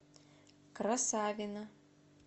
красавино